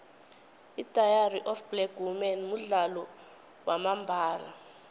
idairy of black women mudlalo wamambala